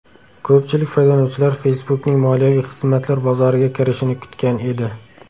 Ko‘pchilik foydalanuvchilar Facebook’ning moliyaviy xizmatlar bozoriga kirishini kutgan edi.